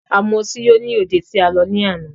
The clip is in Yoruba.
A mu ọtí yó ní òde tí a lọ ní àná.